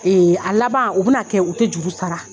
Ee a laban u bɛna kɛ u tɛ juru sara.